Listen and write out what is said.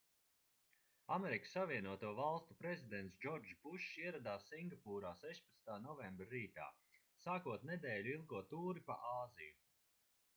asv prezidents džordžs bušs ieradās singapūrā 16. novembra rītā sākot nedēļu ilgo tūri pa āziju